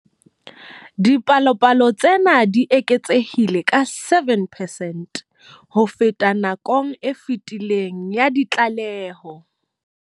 Dipalopalo tsena di eketsehile ka 7 percent ho feta nakong e fetileng ya ditlaleho.